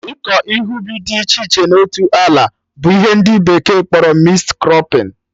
Ịkọ ihe ubi dị iche iche na otu ala bụ ihe ndị bekee kpọrọ mixed crọpping